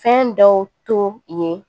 Fɛn dɔw to yen